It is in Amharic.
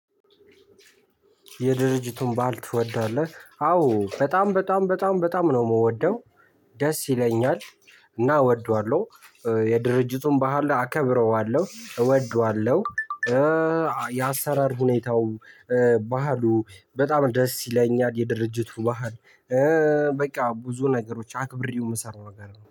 የድርጅቱን ባህል ትወዳለህ? አዎ በጣም በጣም በጣም በጣም ነው የምወደው። ደስ ይለኛል። እና እወደዋለሁ። የድርጅቱን ባህል አከብረዋለሁ እወደዋለሁ። የአሰራር ሁኔታው። በባህሉ በጣም ደስ ይለኛል የድርጅቱ ባህል። በቃ ብዙ ነገሮች አክብሬው የምሰራው ነገር ነው